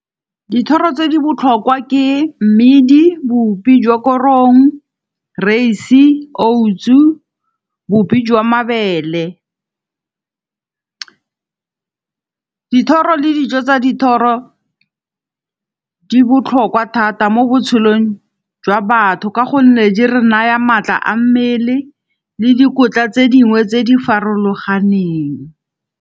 Dithoro tse di botlhokwa ke mmidi, bupi jwa korong, rys-e, oats-u, bupi jwa mabele. Dithoro le dijo tsa dithoro di botlhokwa thata mo botshelong jwa batho ka gonne di re naya maatla a mmele le dikotla tse dingwe tse di farologaneng.